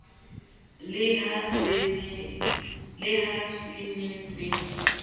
le ha se ne se